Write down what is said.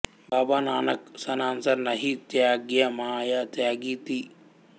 బాబా నానక్ సన్సార్ నహీ త్యాగ్యా మాయా త్యాగి థీ